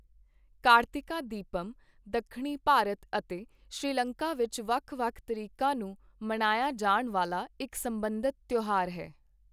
ਕਾਰਤਿਕਾ ਦੀਪਮ ਦੱਖਣੀ ਭਾਰਤ ਅਤੇ ਸ਼੍ਰੀਲੰਕਾ ਵਿੱਚ ਵੱਖ ਵੱਖ ਤਰੀਕਾਂ ਨੂੰ ਮਨਾਇਆ ਜਾਣ ਵਾਲਾ ਇੱਕ ਸਬੰਧਤ ਤਿਉਹਾਰ ਹੈ।